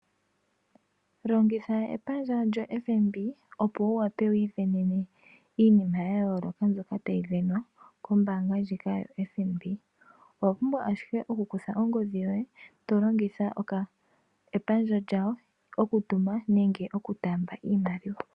Longitha epandja lyoFNB opo wu wape wiisindanene iinima ya yooloka mbyoka tayi sindanwa koombanga ndjika yo FNB owa pumbwa ashike okukutha ongodhi yoye tolongitha epandja lyawo okutuma nenge oku taamba iimaliwa.